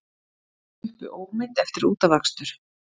Sluppu ómeidd eftir útafakstur